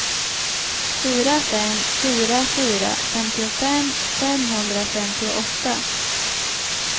fyra fem fyra fyra femtiofem femhundrafemtioåtta